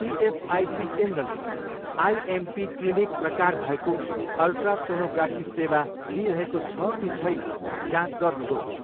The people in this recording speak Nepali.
इएसआइसी केन्द्रले आइएमपी क्लिनिक प्रकार भएको अल्ट्रासोनोग्राफी सेवा दिइरहेको छ कि छैन जाँच गर्नुहोस्।